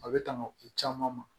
A bɛ tanga ko caman ma